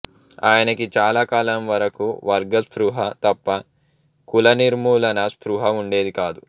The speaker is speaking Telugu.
ఆయనకి చాలా కాలం వరకు వర్గ స్పృహ తప్ప కుల నిర్మూలనా స్పృహ వుండేది కాదు